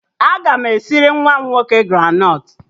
Aga m esiri nwa m nwoke granọt